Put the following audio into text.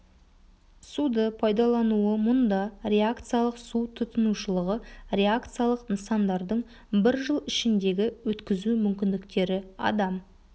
суды пайдалануы мұнда реакциялық су тұтынушылығы реакциялық нысандардың бір жыл ішіндегі өткізу мүмкіндіктері адам